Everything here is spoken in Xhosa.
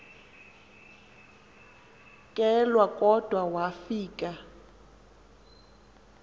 kelwa kodwa wafika